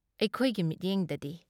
ꯑꯩꯈꯣꯏꯒꯤ ꯃꯤꯠꯌꯦꯡꯗꯒꯤ ꯫